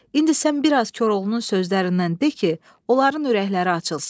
İndi sən bir az Koroğlunun sözlərindən de ki, onların ürəkləri açılsın.”